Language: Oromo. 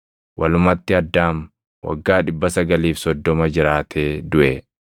Walumatti Addaam waggaa 930 jiraatee duʼe.